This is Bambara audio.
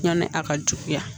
Yani a ka juguya